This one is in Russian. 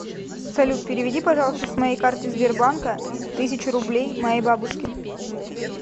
салют переведи пожалуйста с моей карты сбербанка тысячу рублей моей бабушке